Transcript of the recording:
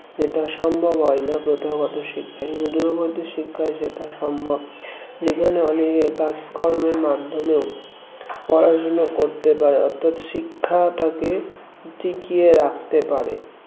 এটা সম্ভব হয় না প্রথাগত শিক্ষায় কিন্তু দূরবর্তী শিক্ষায় সেটা সম্ভব যেখানে অনেক কাজ কর্মের মাধ্যমেও পড়াশোনা করতে পারে অর্থাৎ শিক্ষাটাকে টিকিয়ে রাখতে পারে